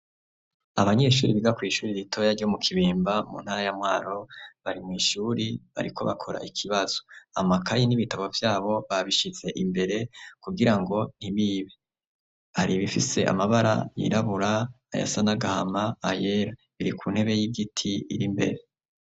Abanyeshuri biga kw'ishuri ritoya ryo mu Kibimba, mu ntara ya Mwaro, bari mw'ishuri, bariko bakora ikibazo; amakaye n'ibitabo vyabo, babishize imbere, kugira ngo ntibibe; hari ibifise amabara yirabura, ayasa n'agahama, ayera; biri ku ntebe y'igiti, iri imbere.